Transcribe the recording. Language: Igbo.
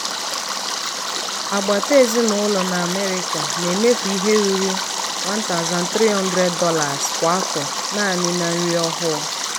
agbata ezinụlọ na america na-emefu ihe ruru $1300 kwa afọ naanị na nri ọhụụ.